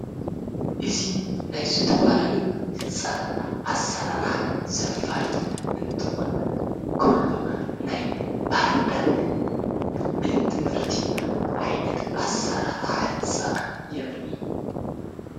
እዙ ናይ ዙ ተ ፍላሌዩ ሕንጻላት ኣሠራራሓ ዘፋልጥ እንትኾን ከሎ ናይ ባህዳር ቤትምህርቲ ኣይነት ዓሠራራሓ ሕንፃ የርኢ።